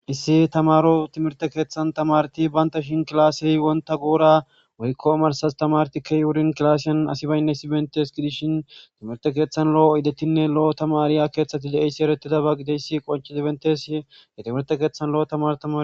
issi tamaro timirte keeththan tamarti baynta shin kilaase wonta goora woykko amarsas tamarti key wurin kilaaseyan asi baynne issi bentes gidishin timirte keeththan lo7o idetinne lo7o tamariya keeththati de7eyssi erettida ba gideyssi qonchi dibentes ye timirte keeththan lo7o tamaro tama